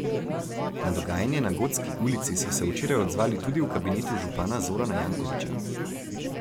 Na dogajanje na Gotski ulici so se včeraj odzvali tudi v kabinetu župana Zorana Jankovića.